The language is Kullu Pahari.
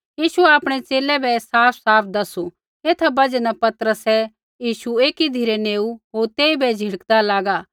यीशुऐ आपणै च़ेले बै ऐ साफसाफ दैसू एथा बजहा न पतरसै यीशु एकी धिरै नेऊ होर तेइबै झ़िड़कदा लागा